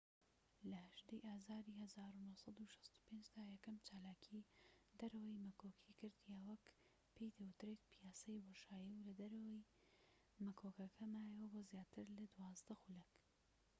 لە ١٨ ی ئازاری ١٩٦٥ دا یەکەم چالاکیی دەرەوەی مەکۆکی کرد یان وەک پێی دەوترێت پیاسەی بۆشایی و لە دەرەوەی مەکۆکەکە مایەوە بۆ زیاتر لە دوازدە خولەك